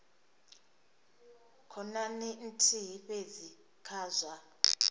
khonani nthihi fhedzi kha zwa